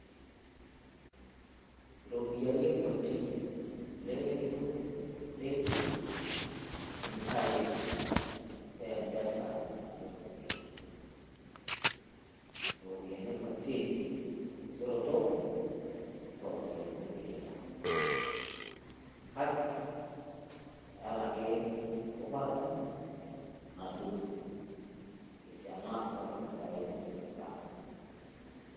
Irropiyiani kutik oleng edung e benki tenintayu e Mpesa apik e benki. Irropiyiani kutik terisioroto oo ropiyiani nipikita. kake eeta ake erubata nadung esiana oo ropiyiani nitipika.